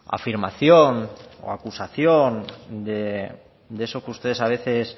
afirmación o acusación de eso que ustedes a veces